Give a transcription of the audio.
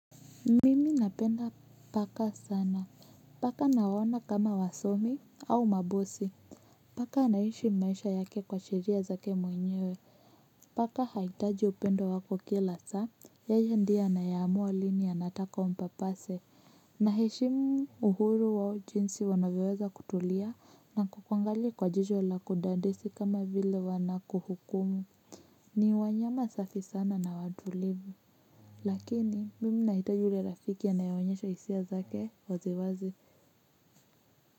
Mimi napenda paka sana. Paka nawa ona kama wasomi au mabosi. Paka anaishi maisha yake kwa sheria zake mwenyewe. Paka haitaji upendo wako kila saa. Yeye ndio anae amua lini anataka umpapase. Naeshimu uhuru wao jinsi wanavyoweza kutulia na kukuangalia kwa jicho la kudadisi kama vile wanakuhukumu. Ni wanyama safi sana na watulivu. Lakini mimi nahitaj yule rafiki anae onyesha hisia zake wazi wazi.